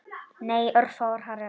Nei, örfáar hræður.